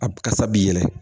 A kasa b'i yɛlɛ